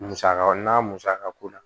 Musaka o n'a musakako la